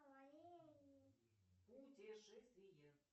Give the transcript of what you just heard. путешествие